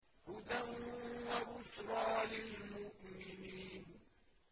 هُدًى وَبُشْرَىٰ لِلْمُؤْمِنِينَ